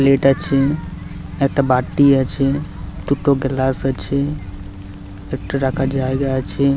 Plate আছে একটা বাটি আছে দুটো গ্লাস আছে একটা রাখার জায়গা আছে।